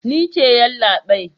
Ni ce yallabai.